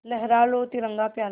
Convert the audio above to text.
लहरा लो तिरंगा प्यारा